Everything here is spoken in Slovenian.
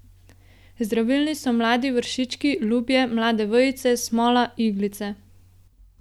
Zdravilni so mladi vršički, lubje, mlade vejice, smola, iglice.